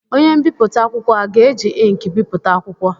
Onye mbipụta akwụkwọ a ga-eji ịnkị bipụta akwụkwọ?